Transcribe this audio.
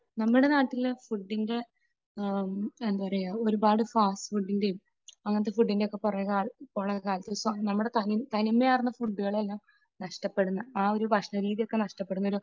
നമ്മുടെ നാട്ടില് ഫുഡിന്റെ എന്താ പറയുക, ഒരുപാട് ഫാസ്റ്റ് ഫുഡിന്റെയും അങ്ങനത്തെ ഫുഡിന്റെയും ഒക്കെ പുറകെ പോകുന്ന ഒരു കാലത്ത് നമ്മുടെ തനിമയാർന്ന ഫുഡുകളെല്ലാം നഷ്ടപ്പെടുന്ന ആ ഒരു ഭക്ഷണരീതി ഒക്കെ നഷ്ടപ്പെടുന്ന